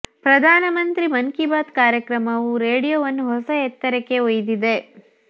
ಪ್ರಧಾನಮಂತ್ರಿಗಳ ಮನ್ ಕೀ ಬಾತ್ ಕಾರ್ಯಕ್ರಮವು ರೇಡಿಯೋವನ್ನು ಹೊಸ ಎತ್ತರಕ್ಕೆ ಒಯ್ದಿದೆ